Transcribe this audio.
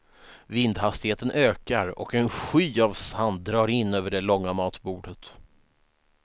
Vindhastigheten ökar och en sky av sand drar in över det långa matbordet.